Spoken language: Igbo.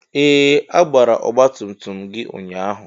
Ee! A gbara ọgbatumtum gị ụnyaahụ.